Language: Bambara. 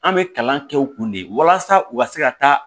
An bɛ kalan kɛ u kun de ye walasa u ka se ka taa